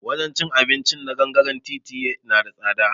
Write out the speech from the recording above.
Wajen cin abinci na gangare titi na da tsada